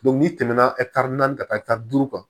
n'i tɛmɛ na naani ka taa duuru kan